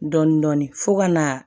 Dɔɔnin-dɔɔnin fo ka na